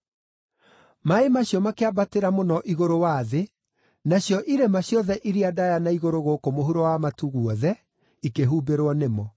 Maaĩ macio makĩambatĩra mũno igũrũ wa thĩ, nacio irĩma ciothe iria ndaaya na igũrũ gũkũ mũhuro wa matu guothe ikĩhumbĩrwo nĩmo.